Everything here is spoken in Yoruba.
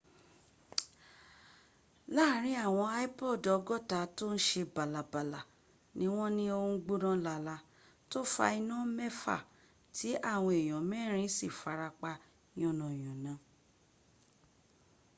láàrin àwọn ípọọ̀dù ọgọ́ta tó ń se bálabàla ní wọ́m ní ó ń gbóná lala tó fa iná mẹ́fà tí àwọn èèyàn mẹ́rìn in sì farapa yánayàna